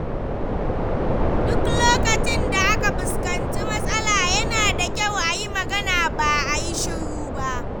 Duk lokacin da aka fuskanci matsala, yana da kyau a yi magana ba a yi shiru ba.